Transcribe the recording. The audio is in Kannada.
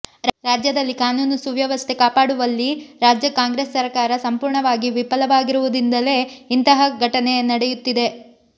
ರಾಜ್ಯದಲ್ಲಿ ಕಾನೂನು ಸುವ್ಯವಸ್ಥೆ ಕಾಪಾಡುವಲ್ಲಿ ರಾಜ್ಯ ಕಾಂಗ್ರೆಸ್ ಸರಕಾರ ಸಂಪೂರ್ಣವಾಗಿ ವಿಫಲವಾಗಿರುದರಿಂಲೇ ಇಂತಹ ಘಟನೆ ನಡೆಯುತ್ತಿದೆ